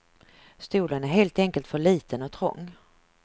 Stolen är helt enkelt för liten och trång.